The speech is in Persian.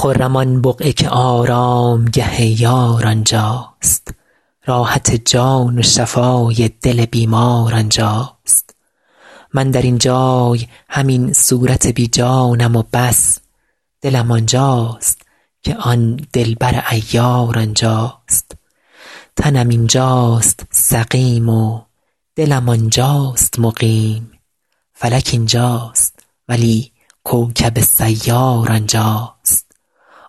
خرم آن بقعه که آرامگه یار آنجاست راحت جان و شفای دل بیمار آنجاست من در این جای همین صورت بی جانم و بس دلم آنجاست که آن دلبر عیار آنجاست تنم اینجاست سقیم و دلم آنجاست مقیم فلک اینجاست ولی کوکب سیار آنجاست